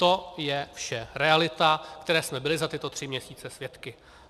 To je vše realita, které jsme byli za tyto tři měsíce svědky.